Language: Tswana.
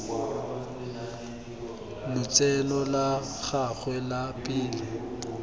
lotseno la gagwe la pele